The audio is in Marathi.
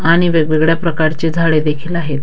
आणि वेगवेगळ्या प्रकारची झाडे देखील आहेत.